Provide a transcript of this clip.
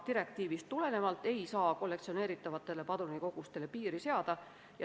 Direktiivist tulenevalt ei saa aga kollektsioneeritavate padrunite kogusele piiri seada.